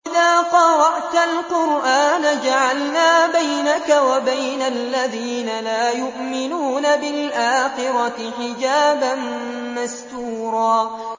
وَإِذَا قَرَأْتَ الْقُرْآنَ جَعَلْنَا بَيْنَكَ وَبَيْنَ الَّذِينَ لَا يُؤْمِنُونَ بِالْآخِرَةِ حِجَابًا مَّسْتُورًا